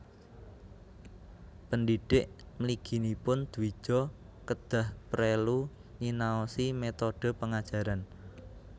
Pendhidhik mliginipun dwija kedah prelu nyinaosi métodhe pengajaran